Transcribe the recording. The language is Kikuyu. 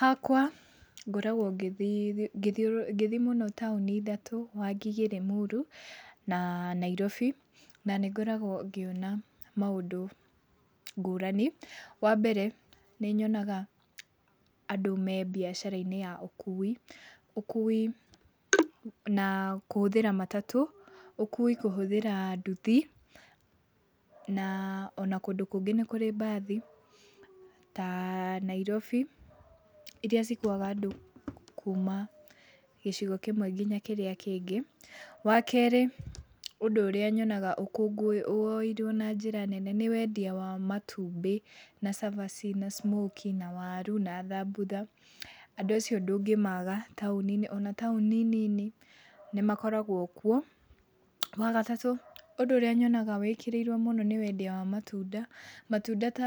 Hakwa ngoragwo ngĩthiĩ ngĩthiũ ngĩthiĩ mũno taũni ithatũ, Wangige, Lĩmuru na Nairobi, na nĩ ngoragwo ngĩona maũndũ ngũrani. Wambere nĩnyonaga andũ me mbiacara-inĩ ya ũkui. Ũkui na kũhũthĩra matatũ, ũkui kũhũthĩra nduthi, na ona kũndũ kũngĩ nĩ kũrĩ mbathi ta Nairobi, iria cikuaga andũ kuma gĩcigo kĩmwe kinya kĩrĩa kĩngĩ. Wakerĩ ũndũ ũrĩa nyonga ũkũngũĩirwo woeirwo na njĩra nene nĩ wendia wa matumbĩ, na cabaci, na smokies, na waru, na thambutha, andũ acio ndũngĩmaga taũni-inĩ. Ona taũni nini nĩmakoragwo kuo. Wagatatũ ũndũ ũrĩa nyonaga wĩkĩrĩirwo mũno nĩ wendia wa matunda. Matunda ta